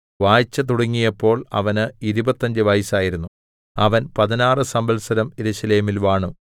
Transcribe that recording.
വാഴ്ച തുടങ്ങിയപ്പോൾ അവന് ഇരുപത്തഞ്ച് വയസ്സായിരുന്നു അവൻ പതിനാറ് സംവത്സരം യെരൂശലേമിൽ വാണു